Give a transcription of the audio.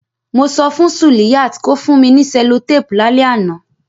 Mo so fun Suliyat ko fun mi ni cellotape lálẹ́ ánàn